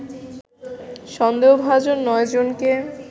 সন্দেহভাজন নয়জনকে